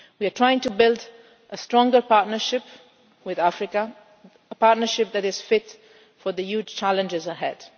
We are trying to build a stronger partnership with Africa, a partnership that is fit for the huge challenges ahead.